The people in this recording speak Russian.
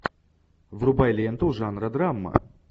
врубай ленту жанра драма